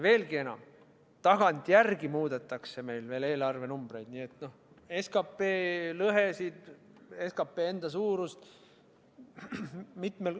Veelgi enam, tagantjärele muudetakse meil eelarvenumbreid, SKP lõhesid, SKP enda suurust.